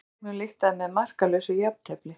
Fyrri leiknum lyktaði með markalausu jafntefli